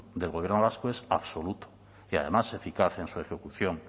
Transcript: del gobierno vasco es absoluto y además eficaz en su ejecución